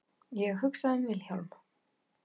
Ég hugsa um Vilhjálm.